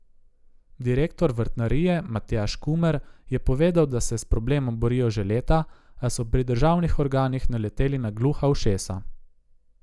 Direktor vrtnarije Matjaž Kumer je povedal, da se s problemom borijo že leta, a so pri državnih organih naleteli na gluha ušesa.